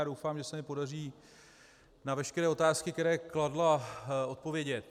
Já doufám, že se mi podaří na veškeré otázky, které kladla, odpovědět.